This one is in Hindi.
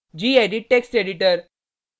gedit text editor